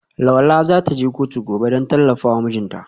Lola za ta je kotu gobe don tallafa wa mijinta.